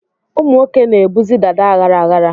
Ụmụ nwoke na-ebuzi dàdá aghara aghara.